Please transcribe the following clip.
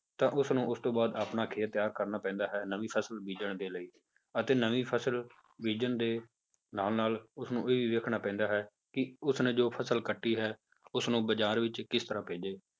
ਤਾਂ ਉਸਨੂੰ ਉਸ ਤੋਂ ਬਾਅਦ ਆਪਣਾ ਖੇਤ ਤਿਆਰ ਕਰਨਾ ਪੈਂਦਾ ਹੈ ਨਵੀਂ ਫਸਲ ਬੀਜਣ ਦੇ ਲਈ ਅਤੇ ਨਵੀਂ ਫਸਲ ਬੀਜਣ ਦੇ ਨਾਲ ਨਾਲ ਉਸਨੂੰ ਇਹ ਵੀ ਵੇਖਣਾ ਪੈਂਦਾ ਹੈ ਕਿ ਉਸਨੇ ਜੋ ਫਸਲ ਕੱਟੀ ਹੈ ਉਸਨੂੰ ਬਾਜ਼ਾਰ ਵਿੱਚ ਕਿਸ ਤਰ੍ਹਾਂ ਭੇਜੇ